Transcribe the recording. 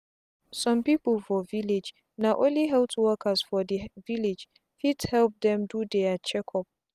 some people for village na only health workers for the village fit help dem do their check up.